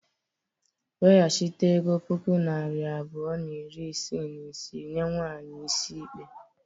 Weghachite ego puku naira abụọ na iri isii na isii nye nwanyị is mkpe.